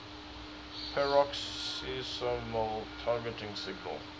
peroxisomal targeting signal